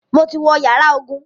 Mo ti wo yàrá ogun.